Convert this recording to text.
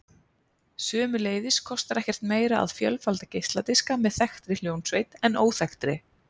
Sömuleiðis kostar ekkert meira að fjölfalda geisladiska með þekktri hljómsveit en óþekktri.